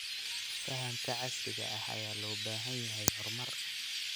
Fahamka casriga ah ayaa loo baahan yahay horumar.